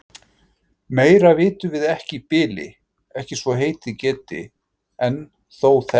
Meira vitum við ekki í bili, ekki svo heitið geti. en þó þetta.